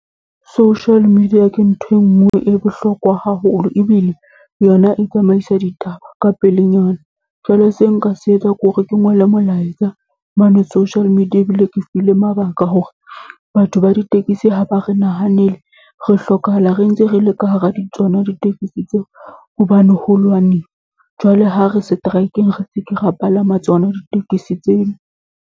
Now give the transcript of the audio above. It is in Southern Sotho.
Social media ke nthwe e nngwe bohlokwa haholo ebile, yona e tsamaisa ditaba ka pelenyana. Jwale se nka se etsa ke hore ke ngole molaetsa mane social media, ebile ke file mabaka hore batho ba ditekesi ha ba re nahanele. Re hlokahala re ntse re le ka hara di tsona ditekesi tseo, hobane ho lwaniwa. Jwale ha re seteraekeng, re seke ra palama tsona ditekesi tseo.